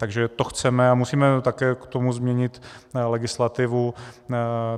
Takže to chceme a musíme také k tomu změnit legislativu.